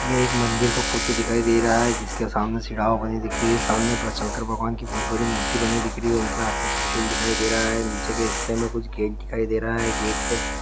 ये एक मंदिर का फोटो दिखाई दे रहा है जिसके सामने बनी दिख रही है सामने शंकर भगवान् की बहुत बड़ी मूर्ति बनी दिख रही है उनके हाथ में त्रिशूल दिखाई दे रहा है निचे के हिस्से में कुछ गेट दिखाई दे रहा है गेट के --